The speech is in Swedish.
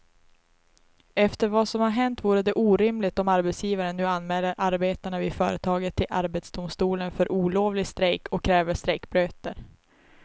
Efter vad som har hänt vore det orimligt om arbetsgivaren nu anmäler arbetarna vid företaget till arbetsdomstolen för olovlig strejk och kräver strejkböter.